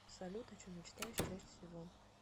салют о чем мечтаешь чаще всего